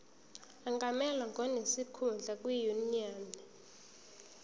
angamelwa ngonesikhundla kwinyunyane